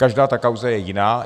Každá ta kauza je jiná.